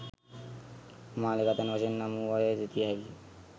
මාලිගාතැන්න වශයෙන් නම් වූවා යැයි සිතිය හැකිය